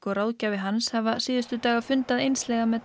og ráðgjafi hans hafa síðustu daga fundað einslega með